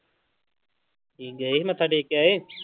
ਗਏ ਮੱਥਾ ਟੇਕ ਕੇ ਆਏ?